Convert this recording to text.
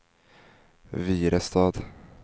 Virestad